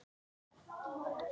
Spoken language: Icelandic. Elsku afi er látinn.